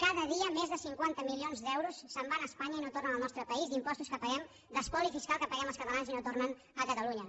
cada dia més de cinquanta milions d’euros se’n van a espanya i no tornen al nostre país d’impostos que paguem d’espoli fiscal que paguem els catalans i no tornen a catalunya